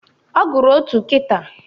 Ọ gụrụ otu kịta